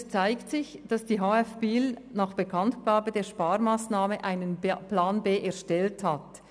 Es zeigt sich, dass die HF in Biel nach Bekanntgabe der Sparmassnahme einen Plan B erstellt hat.